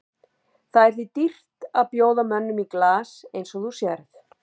Það er því dýrt að bjóða mönnum í glas eins og þú sérð.